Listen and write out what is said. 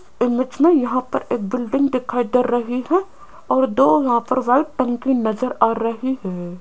Image में यहाँ पर एक बिल्डिंग दिखाई दे रही है और दो यहाँ पर व्हाइट टंकी नजर आ रही है।